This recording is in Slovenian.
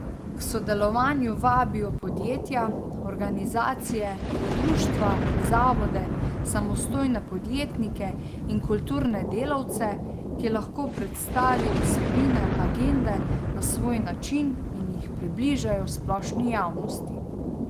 K sodelovanju vabijo podjetja, organizacije, društva, zavode, samostojne podjetnike in kulturne delavce, ki lahko predstavijo vsebine agende na svoj način in jih približajo splošni javnosti.